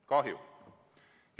Kahju!